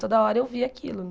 Toda hora eu via aquilo, né?